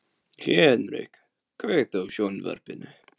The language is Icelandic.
Henrik, kveiktu á sjónvarpinu.